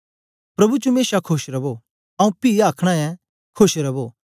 प्रभु च मेशा खोश रवो आऊँ पी आ आखना ऐं खोश रवो